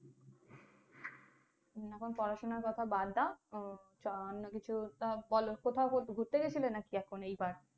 হম এখন পড়াশোনার কথা বাদ দাও। উম অন্য কিছু একটা বোলো কোথাও ঘুরতে গেছিলে নাকি এখন এই বার?